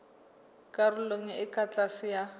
karolong e ka tlase ya